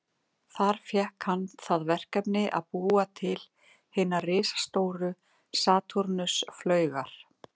Þar fékk hann það verkefni að búa til hinar risastóru Satúrnus-flaugar.